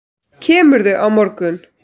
Kemurðu á morgun?